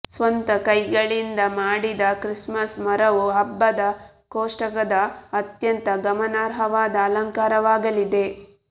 ಸ್ವಂತ ಕೈಗಳಿಂದ ಮಾಡಿದ ಕ್ರಿಸ್ಮಸ್ ಮರವು ಹಬ್ಬದ ಕೋಷ್ಟಕದ ಅತ್ಯಂತ ಗಮನಾರ್ಹವಾದ ಅಲಂಕಾರವಾಗಲಿದೆ